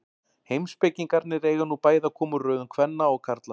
Heimspekingarnir eiga nú bæði að koma úr röðum kvenna og karla.